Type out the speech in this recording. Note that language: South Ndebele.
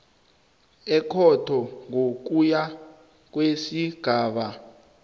ekhotho ngokuya kwesigaba